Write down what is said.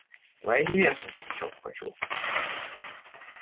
твоя невеста закричал пугачёв